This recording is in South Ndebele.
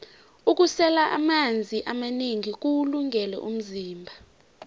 ukusela amanzi amanengi kuwulungele umzimba